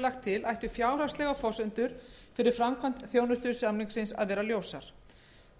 lagt til ættu fjárhagslegar forsendur fyrir framkvæmd þjónustusamningsins að vera ljósar